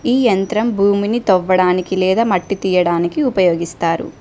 ఈ యంత్రం భూమిని తొవ్వడానికి లేదా మట్టి తీయడానికి ఉపయోగిస్తారు.